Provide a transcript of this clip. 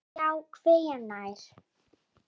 ef já hvenær??